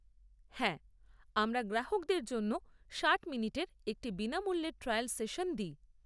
হ্যাঁ, আমরা গ্রাহকদের জন্য ষাট মিনিটের একটি বিনামুল্যের ট্রায়াল সেশন দিই।